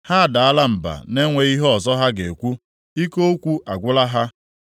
“Ha adaala mba na-enweghị ihe ọzọ ha ga-ekwu; ike okwu agwụla ha.